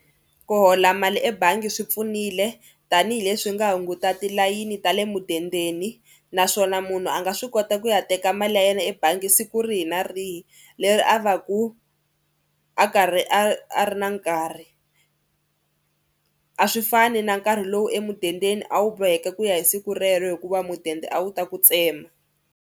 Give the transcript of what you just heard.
Ku hola mali ebangi swi pfunile tanihileswi nga hunguta tilayini ta le mudendeni naswona munhu a nga swi kota ku ya teka mali ya yena ebangi siku rihi na rihi leri a va ku a karhi a ri na nkarhi. A swi fani na nkarhi lowu emudendeni a wu boheki ku ya hi siku rero hikuva mudende a wu ta ku tsema.